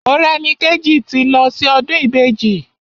Morẹ́nikéjì ti lọ sí ọdún Ìbejì.